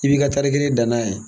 I b'i ka tari kelen dan n'a ye.